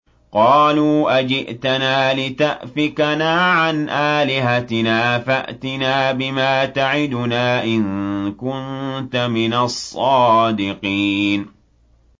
قَالُوا أَجِئْتَنَا لِتَأْفِكَنَا عَنْ آلِهَتِنَا فَأْتِنَا بِمَا تَعِدُنَا إِن كُنتَ مِنَ الصَّادِقِينَ